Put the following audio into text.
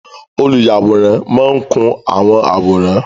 Oluyaworan maa n kun awọn aworan